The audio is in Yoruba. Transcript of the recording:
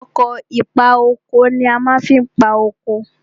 Ọkọ̀ ìpa oko ni a fi ma ń pa oko.